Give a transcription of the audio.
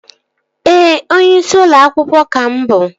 Ee, onyeisi ụlọ akwụkwọ ka mụ bụ